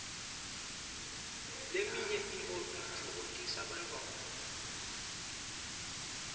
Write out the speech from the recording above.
leminye itfoktisa bantfwana